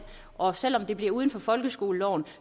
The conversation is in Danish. og selv om det bliver uden for folkeskoleloven